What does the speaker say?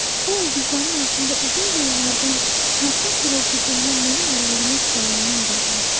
O ulduzların altında uzun yollardan, çarxın xırıltısından, mənim əllərimin səyindən doğmuşdu.